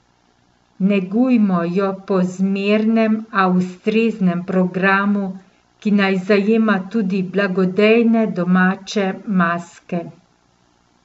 Negujmo jo po zmernem, a ustreznem programu, ki naj zajema tudi blagodejne domače maske.